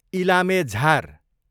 इलामे झार